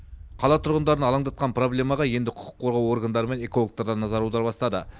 қала тұрғындарын алаңдатқан проблемаға енді құқық қорғау органдары мен экологтар да назар аудара бастады